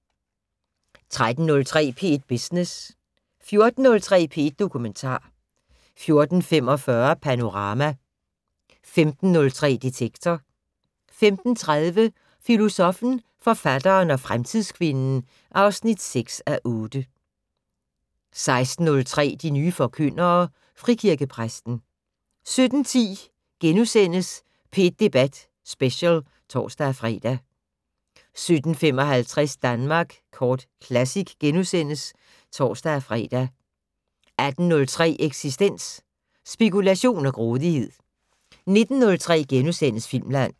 13:03: P1 Business 14:03: P1 Dokumentar 14:45: Panorama 15:03: Detektor 15:30: Filosoffen, forfatteren og fremtidskvinden (6:8) 16:03: De nye forkyndere - Frikirkepræsten 17:10: P1 Debat Special *(tor-fre) 17:55: Danmark Kort Classic *(tor-fre) 18:03: Eksistens: Spekulation og grådighed 19:03: Filmland *